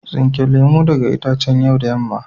Tsinke lemun daga itacen yau da yamma.